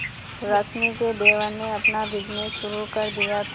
रश्मि के देवर ने अपना बिजनेस शुरू कर दिया था